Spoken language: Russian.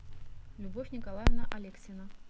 любовь николаевна алексина